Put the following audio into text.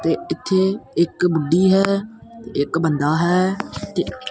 ਤੇ ਇੱਥੇ ਇੱਕ ਬੁੱਢੀ ਹੈ ਇੱਕ ਬੰਦਾ ਹੈ ਤੇ ਇਕ--